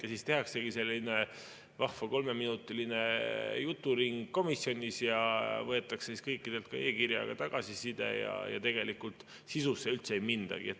Ja siis tehaksegi selline vahva kolmeminutiline juturing komisjonis ja võetakse kõikidelt e‑kirjaga tagasiside ja tegelikult sisusse üldse ei mindagi.